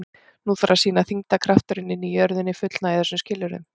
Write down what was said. Nú þarf að sýna að þyngdarkrafturinn inni í jörðinni fullnægi þessum skilyrðum.